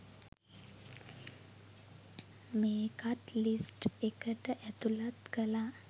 මේකත් ලිස්ට් එකට ඇතුලත් කලා